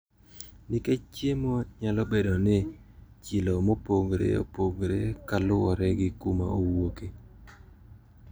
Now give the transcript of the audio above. Nikech chiemo nyalo bedo gi chilo mopogre opogre kalure gi kuma owuoke.